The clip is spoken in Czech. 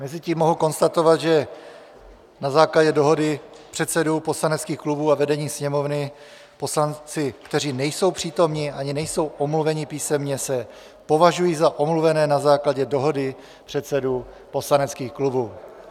Mezitím mohu konstatovat, že na základě dohody předsedů poslaneckých klubů a vedení Sněmovny poslanci, kteří nejsou přítomni ani nejsou omluveni písemně, se považují za omluvené na základě dohody předsedů poslaneckých klubů.